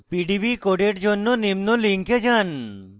pdb code জন্য নিম্ন link যান